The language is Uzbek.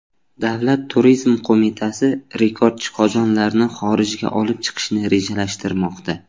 Davlat turizm qo‘mitasi rekordchi qozonlarni xorijga olib chiqishni rejalashtirmoqda.